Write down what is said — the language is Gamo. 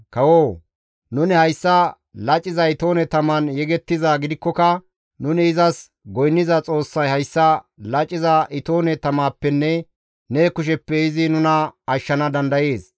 Kawoo! Nuni hayssa laciza itoone taman yegettizaa gidikkoka nuni izas goynniza Xoossay hayssa laciza itoone tamappenne ne kusheppe izi nuna ashshana dandayees.